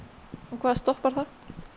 hvað stoppar það